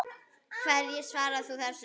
Hverju svarar þú þessu?